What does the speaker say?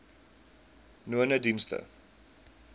nonedienste